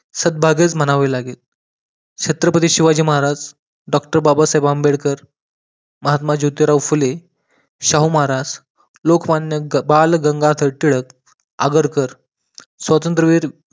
सौभाग्यच म्हणावे लागेल छत्रपती शिवाजी महाराज, डॉक्टर बाबा साहेब आंबेडकर, महात्मा ज्योतिबा फुले, शाहू महाराज, लोकमान्य बाळ गंगाधर टिळक आगरकर स्वातंत्रविर